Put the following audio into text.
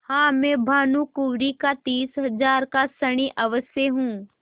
हाँ मैं भानुकुँवरि का तीस हजार का ऋणी अवश्य हूँ